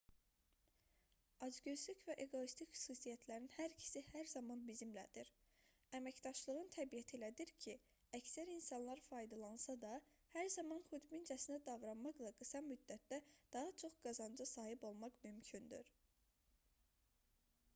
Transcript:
acgözlük və eqoistlik xüsusiyyətlərinin hər ikisi hər zaman bizimlədir əməkdaşlığın təbiəti elədir ki əksər insanlar faydalansa da hər zaman xudbincəsinə davranmaqla qısa müddətdə daha çox qazanca sahib olmaq mümkündür